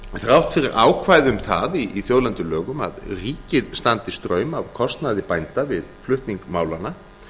þrátt fyrir ákvæði um það í þjóðlendulögum að ríkið standi straum af kostnaði bænda við flutning málanna